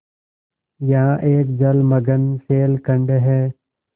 यहाँ एक जलमग्न शैलखंड है